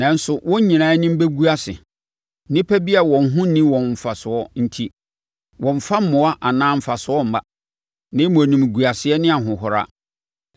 nanso wɔn nyinaa anim bɛgu ase nnipa bi a wɔn ho nni wɔn mfasoɔ enti. Wɔmmfa mmoa anaa mfasoɔ mma, na mmom animguaseɛ ne ahohora.”